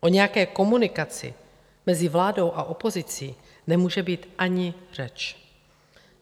O nějaké komunikaci mezi vládou a opozicí nemůže být ani řeč.